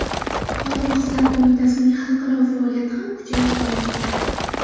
Xotin-qizlar qo‘mitasining xalqaro faoliyati ham kuchayib bormoqda.